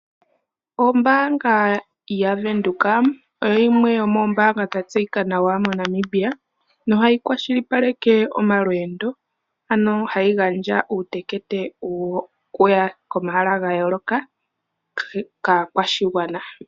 Ombaanga yaVenduka oyo yimwe yomoombanga dha tseyika nawa mo Namibia no hayi kwashilipaleke omalwendo ano hayi gandja uutekete wokuya komahala ga yooloka kaakwashigwana.